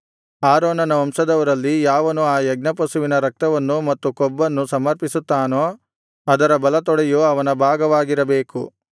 ಆರೋನನ ವಂಶದವರಲ್ಲಿ ಯಾವನು ಆ ಯಜ್ಞಪಶುವಿನ ರಕ್ತವನ್ನು ಮತ್ತು ಕೊಬ್ಬನ್ನು ಸಮರ್ಪಿಸುತ್ತಾನೋ ಅದರ ಬಲತೊಡೆಯು ಅವನ ಭಾಗವಾಗಿರಬೇಕು